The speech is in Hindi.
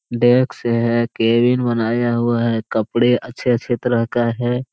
डेस् है केबिन बनाया हुआ है कपड़े अच्छे-अच्छे तरह का है।